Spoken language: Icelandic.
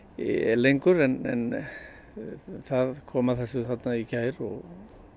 lengur en það kom að þessu þarna í gær og